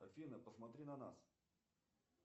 афина посмотри на нас